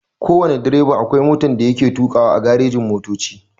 Kowana direba akwai motan da yake tukawa a garejin motoci.